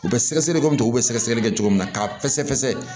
U bɛ sɛgɛsɛgɛli kɛ kɔmi u bɛ sɛgɛsɛgɛli kɛ cogo min na k'a fɛsɛfɛsɛ